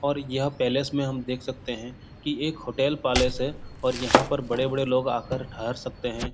और यह पैलेस में हम देख सकते हैं की एक होटल पालेस है और यहाँ पर बड़े-बड़े लोग आकर ठहर सकते हैं।